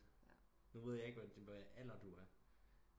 Nu ved jeg ikke hvad alder du er